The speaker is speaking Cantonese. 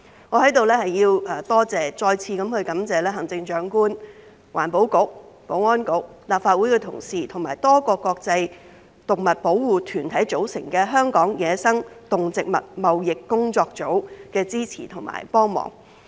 我在此要再次感謝行政長官、環境局、保安局、立法會的同事和由多個國際動物保護團體組成的香港野生動植物貿易工作組的支持和幫忙。